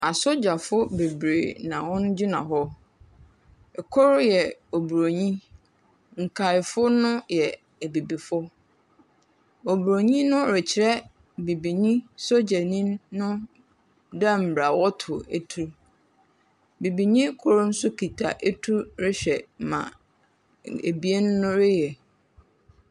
Asogyafo beberee ha hɔn gyina hɔ. Kor yɛ Oburonyi. Nkaefo no yɛ Abibifo. Oburonyi no rekyerɛ Bibinyi sogyanyi no dɛ mbrɛ wɔtow tu. Bibinyi kor nso kita etuw rehwɛ ma n ebien no reyɛ.